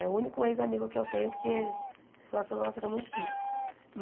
É o único ex-amigo que eu tenho, porque a relação nossa era muito difícil.